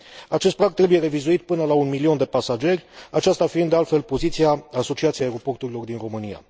Acest prag trebuie revizuit până la un milion de pasageri, aceasta fiind, de altfel, poziția Asociației Aeroporturilor din România.